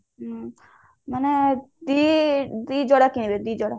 ହୁଁ ମାନେ ଦି ଯୋଡା କିଣିବେ ଦି ଯୋଡା